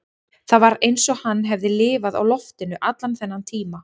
Það var eins og hann hefði lifað á loftinu allan þennan tíma